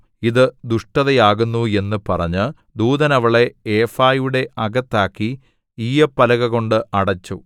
ഇതു ദുഷ്ടതയാകുന്നു എന്നു പറഞ്ഞ് ദൂതൻ അവളെ ഏഫായുടെ അകത്താക്കി ഈയ്യപ്പലകകൊണ്ട് അടച്ചു